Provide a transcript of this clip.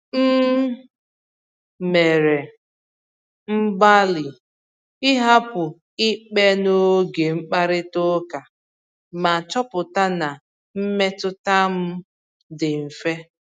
M mere mgbalị ịhapụ ikpe n’oge mkparịta ụka, ma chọpụta na mmetụta m dị mfe.